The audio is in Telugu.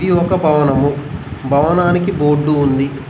ఇది ఒక భవనము భవనానికి బోర్డు ఉంది.